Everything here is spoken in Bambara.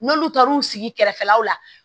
N'olu taar'u sigi kɛrɛfɛlaw la